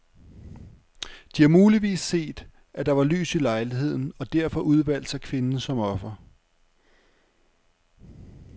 De har muligvis set, at der var lys i lejligheden og derfor udvalgt sig kvinden som offer.